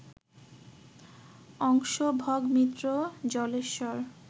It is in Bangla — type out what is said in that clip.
অংশ, ভগ, মিত্র, জলেশ্বর